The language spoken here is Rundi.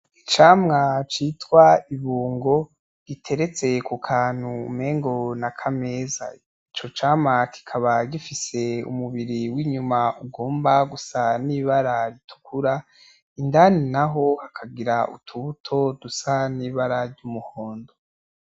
Icamwa citwa ibungo giteretse kukantu mengo nakameza, ico cama cikaba gifise umubiri winyuma ugomba gusa n'ibara ritukura indani naho hakagira utubuto dusa n'ibara ryumuhondo.